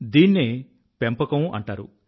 దీన్నే పెంపకం అంటారు